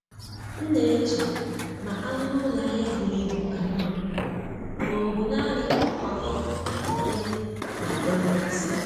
M na-eche ma anụ n’ụlọ ahịa buru ibu ka mma ma ọ bụ naanị nkwakọ ya na-adọrọ mmasị.